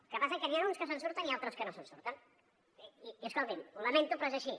el que passa que n’hi ha uns que se’n surten i altres que no se’n surten i escoltin ho lamento però és així